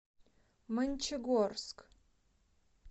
мончегорск